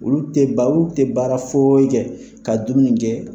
Olu tɛ baa olu tɛ baara foyi kɛ ka dumuni kɛ.